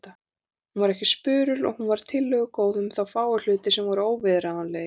Hún var ekki spurul og hún var tillögugóð um þá fáu hluti sem voru óviðráðanlegir.